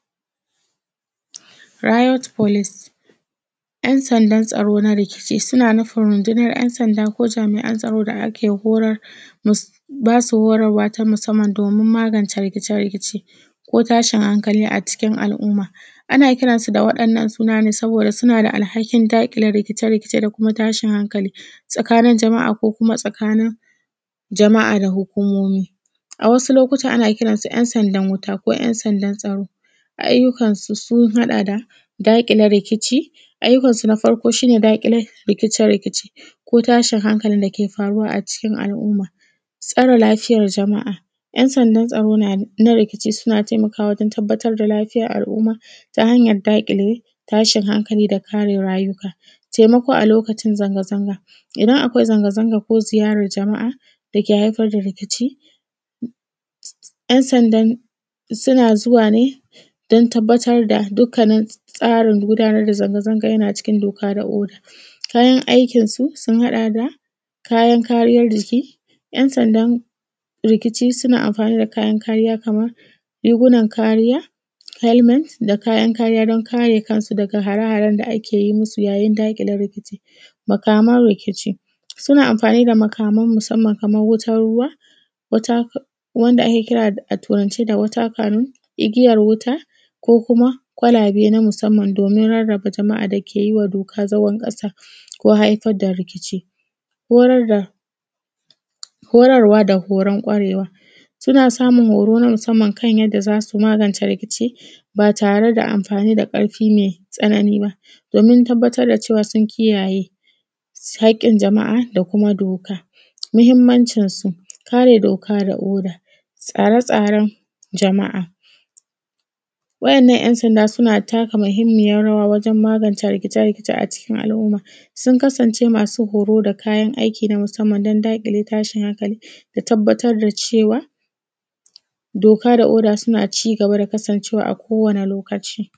Rayot folis, ‘yan sandan tsaro na rikici suna nufin rundunan ‘yan sanda ko jami’an tsaro da ake horar musam, basu horarwa musamman ta musamman domin magance rikice-rikice ko tashin hankali a cikin al’umma. Ana kiransu da wa’innan suna ne saboda suna da alhakin daƙile rikice-rikece da kuma tashin hankali tsakanin jama’a ko kuma tsakanin jama’a da hukumomi. A wasu lokuta ana kiransu ‘yan sandan wuta ko ‘yan sandan tsaro. A ayyukansu sun haɗa da: daƙile rikici. Ayyukansu na farko shi ne daƙile rikice-rikice ko tashin hankalin dake faruwa a cikin al’aumma. Tsare lafiyar jama’a: ‘yan sanda tsaro, na rikici suna taimakawa wajen tabbatar da lafiyar al’umma, ta hanyar daƙile tashin hankali, da kare rayuwaka. Taimako a lokacin zanza-zanga, idan akwai zanga-zanga ko ziyarar jama’a da ke haifar da rikici, ‘yan sandan suna zuwa ne din tabbatar da dukkanin tsarin gudanar da zanga-zanga yana cikin doka yana cikin doka da oda. Kayan aikinsu, sun haɗa da kayan kariyar jiki: ‘yan sandan rikici suna amfani da kayan kariya kamar, rigunan kariya, felment da kayan kariya don kare kansu daga hare-haren da akeyi musu yayin daƙile rikici. Makaman rikici: suna amfani da makaman kaman wutan ruwa, wata wanda ake kira a turance (water canon) igiyar wuta, ko kuma ƙwalabe na musamman domin rarraba jama’a dake yiwa doka zagon kasa ko haifar da rikici. Horarwa da horon ƙwarewa: suna samun horo na musamman kan yadda za su magance rikici ba tare da amfani da ƙarfi mai tsanani ba, domin tabbatar dacewa sun kiyayye haƙin jama’a da kuma doka. Muhimmanci su: kare doka da oda, tsare-tsaren Jama’a, wa’innan ‘yan sanda suna taka mahimmiyar rawa wajen magance rikece-rikece a cikin al’umma, sun kasance masu horo da kayan aiki na musamman don daƙile tashin hankali da tabbatar da cewa doka da oda suna ci gaba da kasancewa a kowane lokaci.